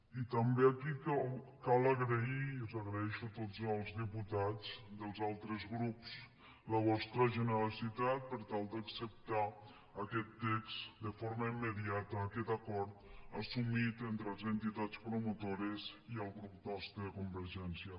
i també aquí cal agrair i els ho agraeixo a tots els diputats dels altres grups la vostra generositat per tal d’acceptar aquest text de forma immediata aquest acord assumit entre les entitats promotores i el grup nostre de convergència